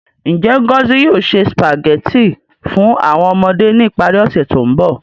Nje Ngozi yoo se Spaghetti fun awọn ọmọde ni ipari ose to nbọ?